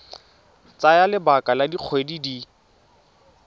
tsaya lebaka la dikgwedi di